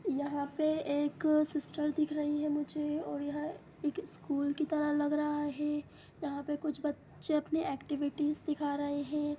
यहाँ पे एक सिस्टर दिख रही है मुझे और यह एक स्कूल की तरह लग रहा है| यहाँ पर कुछ बच्चे अपने ऐक्टिविटीज दिखा रहे हैं।